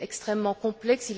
Il est extrêmement complexe.